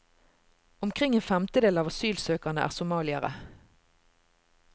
Omkring en femtedel av asylsøkerne er somaliere.